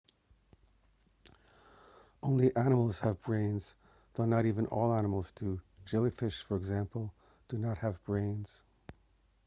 only animals have brains though not even all animals do; jellyfish for example do not have brains